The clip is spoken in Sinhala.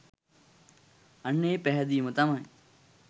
අන්න ඒ පැහැදීම තමයි